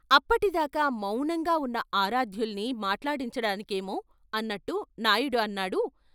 అప్పటిదాకా మౌనంగా ఉన్న ఆరాధ్యుల్ని మాట్లాడించడానికేమో అన్నట్టు నాయుడు అన్నాడు.